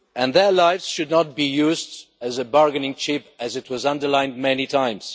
Their lives should not be used as a bargaining chip, as has been underlined many times.